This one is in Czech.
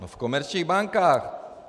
No v komerčních bankách.